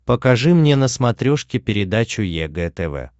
покажи мне на смотрешке передачу егэ тв